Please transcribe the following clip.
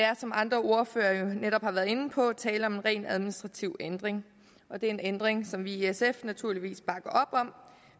er som andre ordførere jo har været inde på tale om en rent administrativ ændring og det er en ændring som vi i sf naturligvis bakker op om